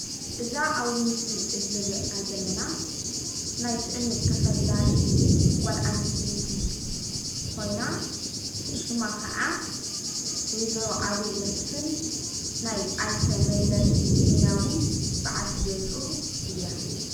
እዛ ኣብዚ ምስሊ እዙይ እንሪኣ ዘለና ናይ ትእምት ተፈላጢት ጓል ኣነስተይቲ ኮይና ሽማ ኻዓ ወይዘሮ ኣዜብ መስፍን ናይ ኣይተ መለስ ዘይናዊ ባዓልቲ ገዝኡ እያ።